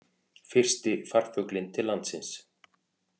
Fyrsti farfuglinn til landsins